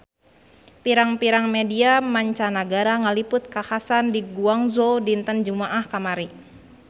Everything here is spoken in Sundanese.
Pirang-pirang media mancanagara ngaliput kakhasan di Guangzhou dinten Jumaah kamari